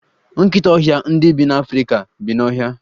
Nkịta ọhịa ndị dị n'Afrika bi n'ọhịa.